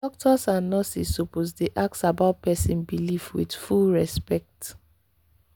doctors and nurses suppose dey ask about person belief with full respect.